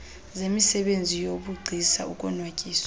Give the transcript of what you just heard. zemisebenzi yobugcisa ukonwatyiswa